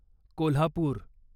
Kolhapur